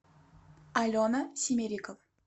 алена семерика